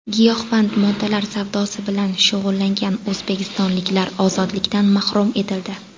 Giyohvand moddalar savdosi bilan shug‘ullangan o‘zbekistonliklar ozodlikdan mahrum etildi.